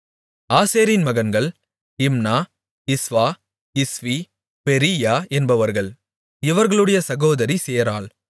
ஆசேரின் மகன்கள் Imnah Ishvah Ishvi Beriah என்பவர்கள் இவர்களுடைய சகோதரி சேராள்